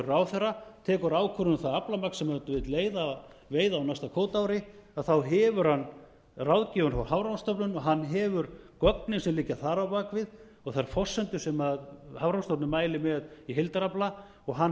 ráðherra tekur ákvörðun um það aflamark sem hann vill leyfa að veiða á næsta kvótaári þá hefur hann ráðgjöfina frá hafrannsóknastofnun og hann hefur gögnin sem liggja þar á bak við og þær forsendur sem hafrannsóknastofnun mælir með í heildarafla og hann